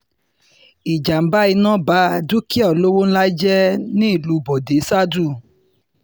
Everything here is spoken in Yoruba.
ìjàm̀bá iná bá dúkìá olówó ńlá jẹ́ nílùú bọ́dẹ ṣáádú